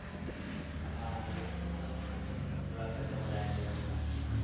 હા એક મિનિટ હા થોડા customer આવી ગયા. તા